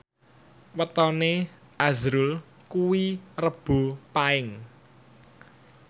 wetone azrul kuwi Rebo Paing